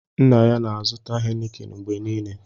Nna ya na-azụta hénịkịn mgbe niile